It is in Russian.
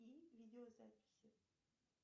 и видеозаписи